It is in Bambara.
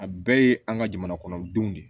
A bɛɛ ye an ka jamana kɔnɔdenw de ye